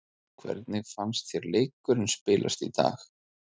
Hvernig fannst þér leikurinn spilast í dag?